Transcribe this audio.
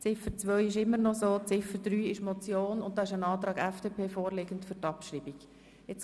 Ziffer 2 ist unverändert und Ziffer 3 besteht als Motion, wobei seitens der FDP ein Antrag auf Abschreibung vorliegt.